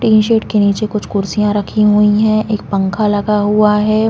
Tin shed के नीचे कुछ कुर्सियां रखी हुई है एक पंखा लगा हुआ है।